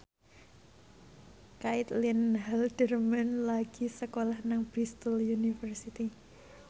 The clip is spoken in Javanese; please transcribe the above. Caitlin Halderman lagi sekolah nang Bristol university